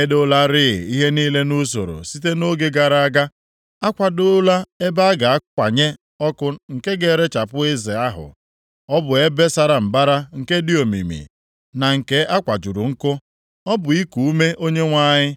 Edoolarị ihe niile nʼusoro site nʼoge gara aga. A kwadoola ebe a ga-akwanye ọkụ nke ga-erechapụ eze ahụ. Ọ bụ ebe sara mbara, nke dị omimi, na nke a kwajuru nkụ. Ọ bụ iku ume Onyenwe anyị